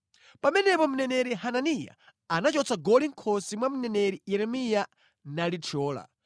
Pamenepo mneneri Hananiya anachotsa goli mʼkhosi mwa mneneri Yeremiya nalithyola,